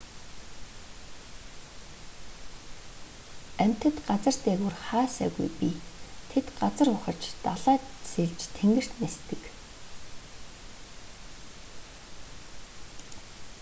амьтад газар дээгүүр хаа сайгүй бий тэд газар ухаж далайд сэлж тэнгэрт нисдэг